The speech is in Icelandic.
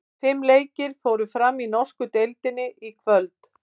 Fimm leikir fóru fram í norsku deildinni í kvöld.